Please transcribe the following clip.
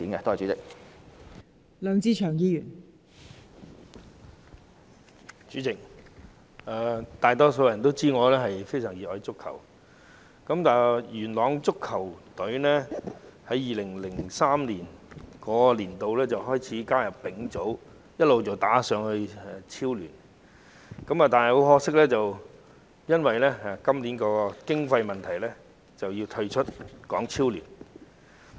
代理主席，很多人都知道我非常熱愛足球，佳聯元朗球隊自2003年開始加入丙組，後來升上港超聯，但很可惜，今年因經費問題要退出港超聯。